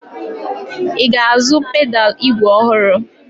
I ga-azụ pedalụ ígwè ọhụrụ?